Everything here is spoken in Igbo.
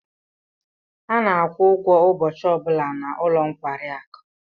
A na-akwụ ụgwọ ụbọchị ọ bụla n'ụlọ nkwari akụ.